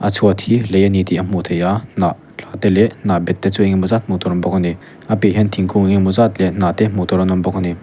a chhuat hi lei a ni tih a hmuh theih a hnah te leh hnah bet te chu enge maw zat hmuh tur a awm bawk a nia piahah hian thingkung enge awm zat leh hnah te hmuh tur an awm bawk a ni.